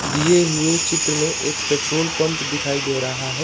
दिए हुए चित्र में एक पेट्रोल पम्प दिखाई दे रहा है।